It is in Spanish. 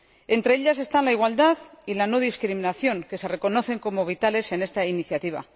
Entre ellos están la igualdad y la no discriminación, que se reconocen como vitales en esta iniciativa.